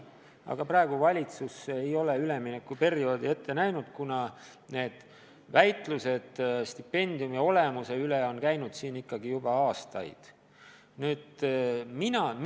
Aga praegu valitsus ei ole üleminekuperioodi ette näinud, kuna väitlused stipendiumi olemuse üle on ikkagi juba aastaid käinud.